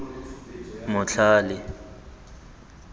motlhale